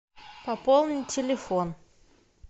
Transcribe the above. пополни телефон